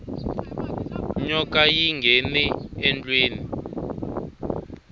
nyoka yi nghene endlwini